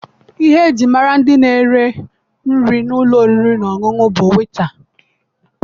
Ihe eji mara ndị na-ere nri n'ụlọ oriri na ọṅụṅụ bụ wetaa.